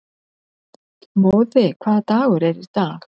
Móði, hvaða dagur er í dag?